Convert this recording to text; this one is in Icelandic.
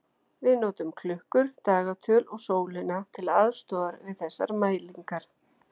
Við notum klukkur, dagatöl og sólina til aðstoðar við þessar mælingar.